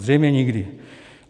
Zřejmě nikdy.